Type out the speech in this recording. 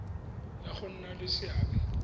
ya go nna le seabe